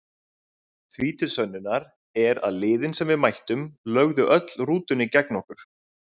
Því til sönnunar er að liðin sem við mættum lögðu öll rútunni gegn okkur,